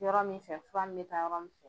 Yɔrɔ min fɛ fura ni bɛ taa yɔrɔ min fɛ.